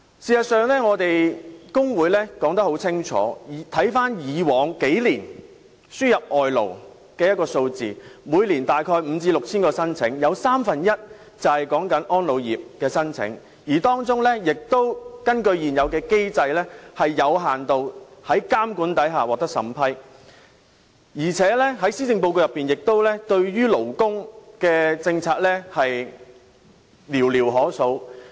事實上，我們工會說得很清楚，回顧過去數年，輸入外勞的數字每年大約有5000至6000宗申請，有三分之一是安老護理業的申請，當中亦有是根據現有機制在監管下獲得有限度審批的申請，而且施政報告對於勞工的政策，亦寥寥可數。